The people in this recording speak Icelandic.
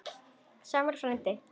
Sámur frændi